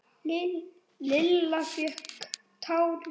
Lilla fékk tár í augun.